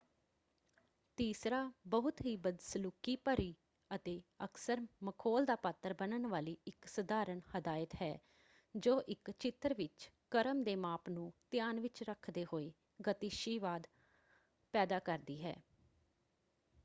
ਤੀਸਰਾ ਬਹੁਤ ਹੀ ਬਦਸਲੂਕੀ ਭਰੀ ਅਤੇ ਅਕਸਰ ਮਖੌਲ ਦਾ ਪਾਤਰ ਬਣਨ ਵਾਲੀ ਇੱਕ ਸਧਾਰਣ ਹਦਾਇਤ ਹੈ ਜੋ ਇੱਕ ਚਿੱਤਰ ਵਿੱਚ ਕ੍ਰਮ ਦੇ ਮਾਪ ਨੂੰ ਧਿਆਨ ਵਿੱਚ ਰੱਖਦੇ ਹੋਏ ਗਤੀਸ਼ੀਵਾਦ ਪੈਦਾ ਕਰਦੀ ਹੈ।